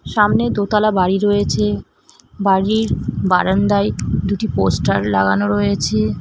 সামনে দোতালা বাড়ি রয়েছে বাড়ির বারান্দায় দুটি পোস্টার লাগানো রয়েছে।